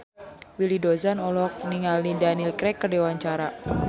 Willy Dozan olohok ningali Daniel Craig keur diwawancara